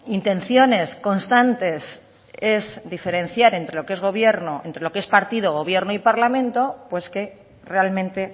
intenciones constantes es diferenciar entre lo que es gobierno entre lo que es partido gobierno y parlamento pues que realmente